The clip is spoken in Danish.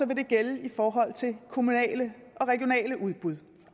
vil det gælde i forhold til kommunale og regionale udbud